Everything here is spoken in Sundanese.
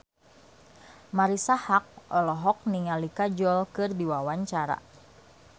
Marisa Haque olohok ningali Kajol keur diwawancara